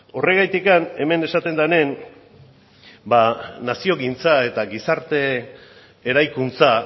horregatik hemen esaten denean naziogintza eta gizarte eraikuntza